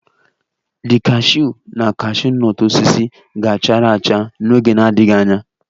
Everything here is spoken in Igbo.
The cashew na cashew nut osisi ga-chara acha n'oge na-adịghị anya